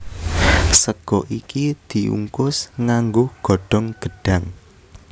Sega iki diungkus nganggo godhong gedhang